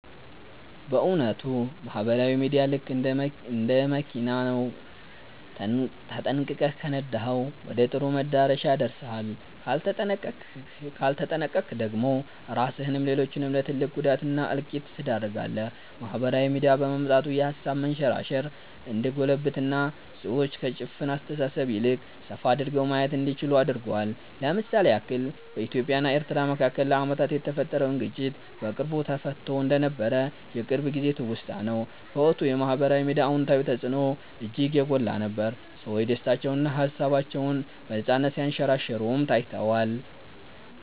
በ እዉነቱ ማህበራዊ ሚዲያ ልክ እንደ መኪና ነው፤ ተጠንቅቀህ ከነዳኀው ወደ ጥሩ መዳረሻ ያደርስሃል ካልተጠነቅቀክ ደግሞ ራስህንም ሌሎችንም ለ ትልቅ ጉዳት እና እልቂት ትዳርጋለህ። ማህበራዊ ሚዲያ በመምጣቱ የሃሳብ መንሸራሸር እንዲጎለብትና ሰዎች ከ ጭፍን አስተሳሰብ ይልቅ ሰፋ አድርገው ማየት እንዲችሉ አድርጓል። ለ ምሳሌ ያክል በኢትዮጵያ እና ኤርትራ መካከል ለአመታት የተፈጠረውን ግጭት በቅርቡ ተፈትቶ እንደነበር የቅርብ ጊዜ ትውስታ ነው። በወቅቱ የ ማህበራዊ ሚዲያ አወንታዊ ተፅዕኖ እጅግ የጎላ ነበር፤ ሰዎች ደስታቸውንና ሃሳባቸውን በነፃነት ሲያንሸራሽሩም ታይቷል።